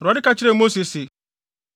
Awurade ka kyerɛɛ Mose se,